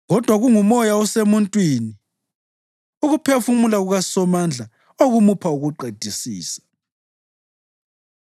Kodwa kungumoya osemuntwini, ukuphefumula kukaSomandla, okumupha ukuqedisisa.